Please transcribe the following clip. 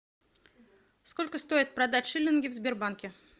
сколько стоит продать шиллинги в сбербанке